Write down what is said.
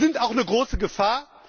Sie sind auch eine große Gefahr.